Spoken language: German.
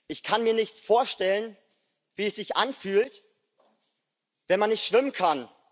Ich kann mir nicht vorstellen, wie es sich anfühlt, wenn man nicht schwimmen kann.